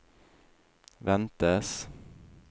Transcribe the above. ventes